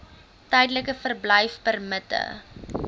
tydelike verblyfpermitte